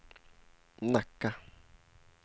Nacka